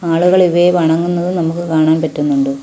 ആളുകൾ ഇവയെ വണങ്ങുന്നത് നമുക്ക് കാണാൻ പറ്റുന്നുണ്ട്.